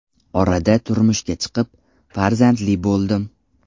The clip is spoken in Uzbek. Orada turmushga chiqib, farzandli bo‘ldim.